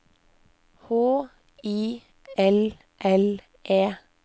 H I L L E